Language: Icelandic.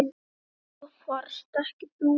En það varst ekki þú.